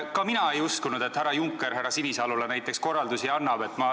Ka mina ei uskunud, et härra Juncker näiteks härra Sinisalule korraldusi annab.